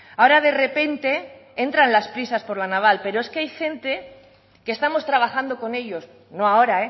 ahora de repente entra las prisas por la naval pero es que hay gente que estamos trabajando con ellos no ahora